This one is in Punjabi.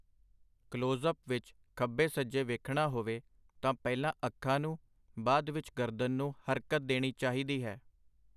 ਕਲੋਜ਼-ਅਪ ਵਿਚ ਖੱਬੇ-ਸੱਜੇ ਵੇਖਣਾ ਹੋਵੇ, ਤਾਂ ਪਹਿਲਾਂ ਅੱਖਾਂ ਨੂੰ ਬਾਅਦ ਵਿਚ ਗਰਦਨ ਨੂੰ ਹਰਕਤ ਦੇਣੀ ਚਾਹੀਦੀ ਹੈ.